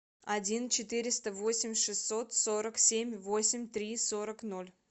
один четыреста восемь шестьсот сорок семь восемь три сорок ноль